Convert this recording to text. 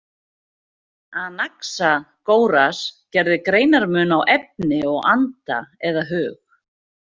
Anaxagóras gerði greinarmun á efni og anda eða hug.